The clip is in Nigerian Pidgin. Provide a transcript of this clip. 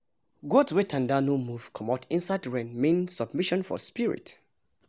goat wey tanda no move comot inside rain mean submission for spirit